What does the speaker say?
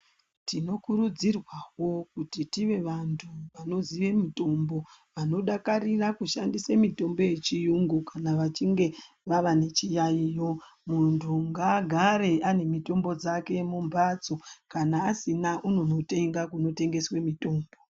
Tinokurudzirwawo kuti tive vantu, vanoziye mitombo, vanodakarire kushandise mitombo yechiyungu kana vachinge vava nechiyaiyo. Muntu ngaagare ane mitombo dzake mumphatso, kana asina unonotenga kunotengeswe mitombo.